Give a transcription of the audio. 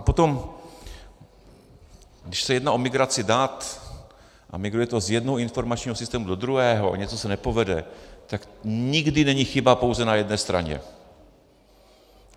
A potom, když se jedná o migraci dat a migruje to z jednoho informačního systému do druhého a něco se nepovede, tak nikdy není chyba pouze na jedné straně.